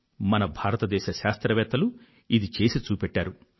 మన భారత శాస్త్రవేత్తలు ఇది చేసి చూపెట్టారు